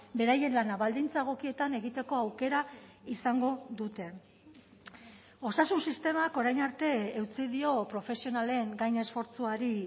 beraien lana baldintza egokietan egiteko aukera izango dute osasun sistemak orain arte eutsi dio profesionalen gainesfortzuari